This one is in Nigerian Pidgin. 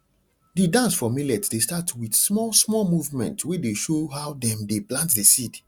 the dance for millet dey start with small small movement wey dey show how dem dey plant the seed